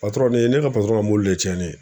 ne=I ye ne ka mɔbili le cɛnni ye